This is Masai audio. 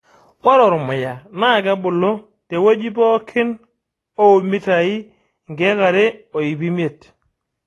ore ormuya naa kebulu tewueji pookin oo mitai 2,500